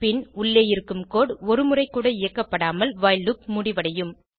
பின் உள்ளே இருக்கும் கோடு ஒரு முறை கூட இயக்கப்படாமல் வைல் லூப் முடிவடையும்